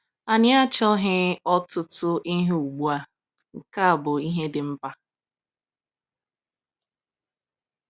“Anyị achaoghị ọtụtụ ihe ugbu a, nke bụ ihe dị mkpa.”